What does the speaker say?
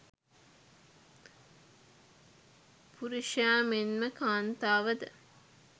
පුරුෂයා මෙන්ම කාන්තාව ද